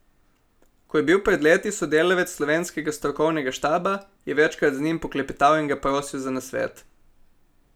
Ko je bil pred leti sodelavec slovenskega strokovnega štaba, je večkrat z njim poklepetal in ga prosil za nasvet.